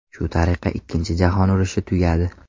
Shu tariqa Ikkinchi jahon urushi tugadi.